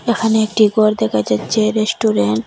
এখানে একটি গর দেখা যাচ্চে রেস্টুরেন্ট ।